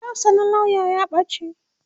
hular sa na lauya ya bace